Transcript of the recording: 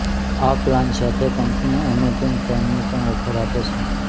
આ પ્લાન સાથે company Amazon પ્રાઇમની પણ ઓફર આપે છે